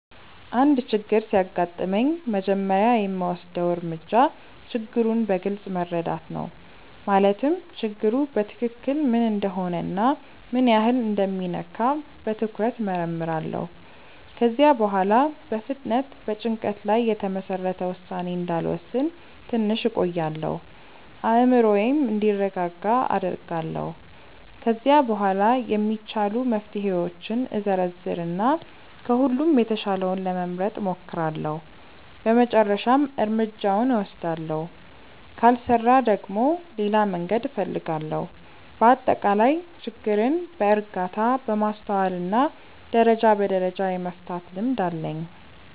አንድ ችግር ሲያጋጥመኝ መጀመሪያ የምወስደው እርምጃ ችግሩን በግልጽ መረዳት ነው። ማለትም ችግሩ በትክክል ምን እንደሆነ እና ምን ያህል እንደሚነካ በትኩረት እመርምራለሁ። ከዚያ በኋላ በፍጥነት በጭንቀት ላይ የተመሰረተ ውሳኔ እንዳልወስን ትንሽ እቆያለሁ፤ አእምሮዬም እንዲረጋጋ አደርጋለሁ። ከዚያ በኋላ የሚቻሉ መፍትሄዎችን እዘረዝር እና ከሁሉም የተሻለውን ለመምረጥ እሞክራለሁ በመጨረሻም እርምጃውን እወስዳለሁ። ካልሰራ ደግሞ ሌላ መንገድ እፈልጋለሁ። በአጠቃላይ ችግርን በእርጋታ፣ በማስተዋል እና ደረጃ በደረጃ የመፍታት ልምድ አለኝ።